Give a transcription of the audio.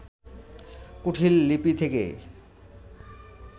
কুটীল লিপি থেকে